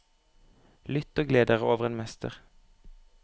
Lytt og gled dere over en mester.